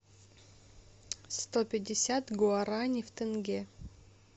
сто пятьдесят гуарани в тенге